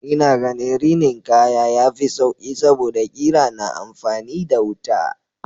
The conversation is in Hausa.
Ina ganin rinin kaya yafi sauƙi saboda ƙira na amfani da wuta.